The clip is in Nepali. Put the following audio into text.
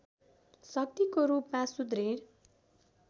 शक्तिको रूपमा सुदृढ